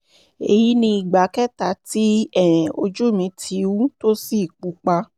èyí ni ìgbà kẹta tí um ojú mi ti wú tó sì pupa